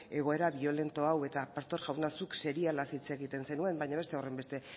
egoera biolento hau eta pastor jauna zuk serialaz hitz egiten zenuen baina beste horrenbeste